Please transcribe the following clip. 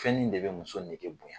Fɛn in de bɛ muso nege bonya!